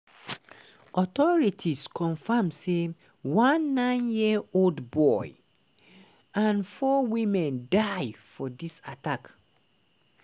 authorities confam say one nine-year-old boy and four women die for di attack.